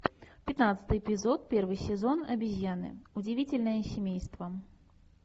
пятнадцатый эпизод первый сезон обезьяны удивительное семейство